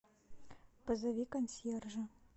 позови консьержа